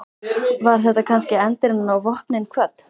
Var þetta kannski endirinn á Vopnin kvödd?